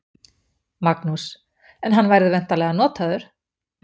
Magnús: En hann verður væntanlega notaður?